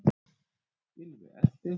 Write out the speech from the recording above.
Gylfi elti.